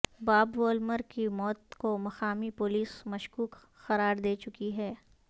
باب وولمر کی موت کو مقامی پولیس مشکوک قرار دے چکی ہے